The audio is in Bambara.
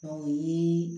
O ye